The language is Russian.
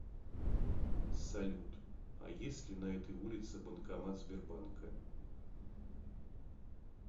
салют а есть ли на этой улице банкомат сбербанка